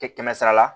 Tɛ kɛmɛ sara la